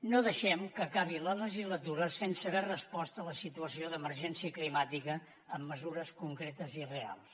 no deixem que acabi la legislatura sense haver respost a la situació d’emergència climàtica amb mesures concretes i reals